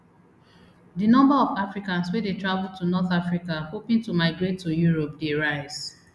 di number of africans wey dey travel to north africa hoping to migrate to europe dey rise